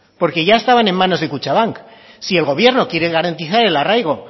porque ya estaban en manos de kutxabank si el gobierno quiere garantizar el arraigo